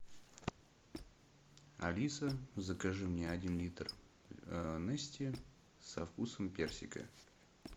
алиса закажи мне один литр нести со вкусом персика